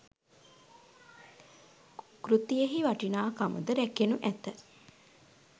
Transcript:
කෘතියෙහි වටිනාකම ද රැකෙනු ඇත.